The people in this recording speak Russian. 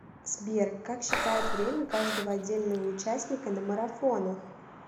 сбер как считают время каждого отдельного участника на марафонах